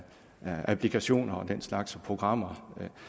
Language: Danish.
applikationer og den slags programmer